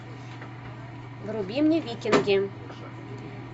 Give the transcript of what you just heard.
вруби мне викинги